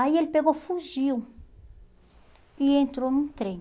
Aí ele pegou, fugiu e entrou num trem.